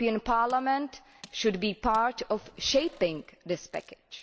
Parliament should be part of shaping this package.